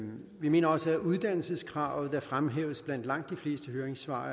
vi mener også at uddannelseskravet der fremhæves blandt langt de fleste høringssvar